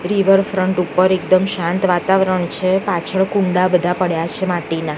Riverfront એક પર એકદમ શાંત વાતાવરણ છે પાછળ બધા કુંડા પડ્યા છે માટીના.